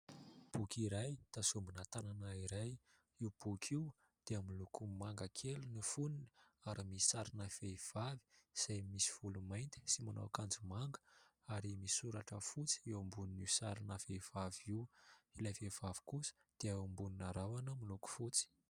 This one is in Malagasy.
Boky iray tazomina tanana iray. Io boky io dia miloko manga kely ny foniny ary misy sarina vehivavy izay misy volo mainty sy manao akanjo manga ary misy soratra fotsy eo ambonin'io sarina vehivavy io. Ilay vehivavy kosa dia eo ambonina rahona miloko fotsy.